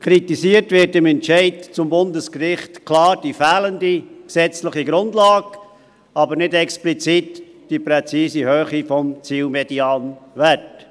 Kritisiert wird im Entscheid des Bundesgerichts klar die fehlende gesetzliche Grundlage, aber nicht explizit die präzise Höhe des Zielmedianwerts;